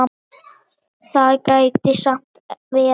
Það gæti samt verið.